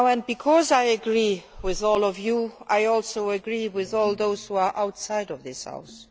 Because I agree with all of you, I also agree with all those who are outside this House.